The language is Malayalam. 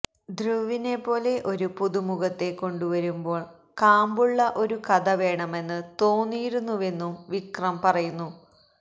ധ്രുവിനെപ്പോലെ ഒരു പുതുമുഖത്തെ കൊണ്ടുവരുമ്പോൾ കാമ്പുള്ള ഒരു കഥ വേണമെന്ന് തോന്നിയിരുന്നുവെന്നും വിക്രം പറയുന്നു